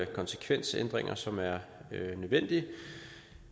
konsekvensændringer som er nødvendige